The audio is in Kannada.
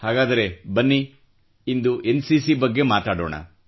ಹಾಗಾದರೆ ಬನ್ನಿ ಇಂದು ಎನ್ಸಿಸಿ ಬಗ್ಗೆ ಮಾತಾಡೋಣ